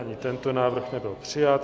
Ani tento návrh nebyl přijat.